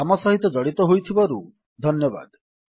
ଆମ ସହିତ ଜଡ଼ିତ ହୋଇଥିବାରୁ ଧନ୍ୟବାଦ